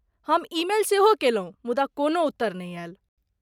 हम ईमेल सेहो कयलहुँ, मुदा कोनो उत्तर नहि आयल।